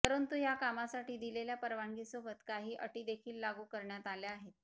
परंतु ह्या कामासाठी दिलेल्या परवानगीसोबत काही अटीदेखील लागू करण्यात आल्या आहेत